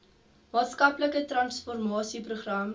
maatskaplike transformasie program